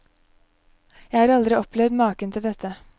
Jeg har aldri opplevd maken til dette.